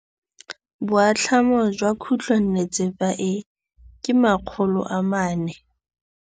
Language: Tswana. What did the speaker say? Boatlhamô jwa khutlonnetsepa e, ke 400.